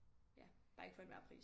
Ja bare ikke for enhver pris